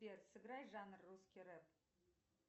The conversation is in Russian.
сбер сыграй жанр русский рэп